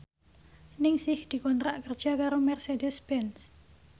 Ningsih dikontrak kerja karo Mercedez Benz